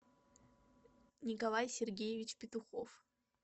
николай сергеевич петухов